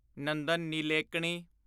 Nandan Nilekani